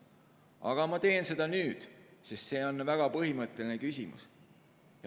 Aga ma teen seda nüüd, sest see on väga põhimõtteline küsimus.